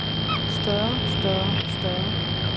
større større større